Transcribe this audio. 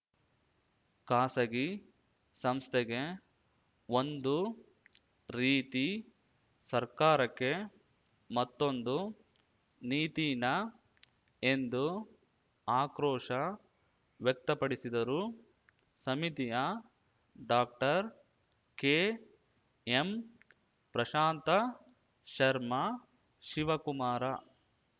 ಖಾಸಗಿ ಸಂಸ್ಥೆಗೆ ಒಂದು ರೀತಿ ಸರ್ಕಾರಕ್ಕೆ ಮತ್ತೊಂದು ನೀತಿನಾ ಎಂದು ಆಕ್ರೋಶ ವ್ಯಕ್ತಪಡಿಸಿದರು ಸಮಿತಿಯ ಡಾಕ್ಟರ್ಕೆಎಂಪ್ರಶಾಂತ ಶರ್ಮ ಶಿವಕುಮಾರ